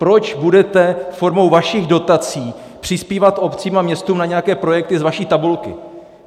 Proč budete formou vašich dotací přispívat obcím a městům na nějaké projekty z vaší tabulky?